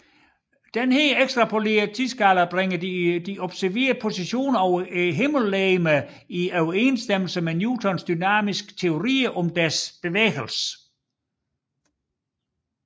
Denne ekstrapolerede tidsskala bringer de observerede positioner af himmellegemerne i overensstemmelse med Newtons dynamiske teorier om deres bevægelse